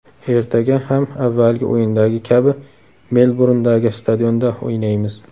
Ertaga ham avvalgi o‘yindagi kabi Melburndagi stadionda o‘ynaymiz.